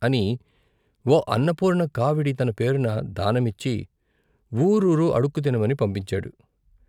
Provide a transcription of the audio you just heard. అని ఓ అన్నపూర్ణ కావిడి తన పేరున దానమిచ్చి వూరూరు అడుక్కుతినమని పంపించాడు.